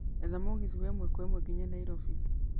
etha mũgithi wa ĩmwe kwa ĩmwe nginya nairobi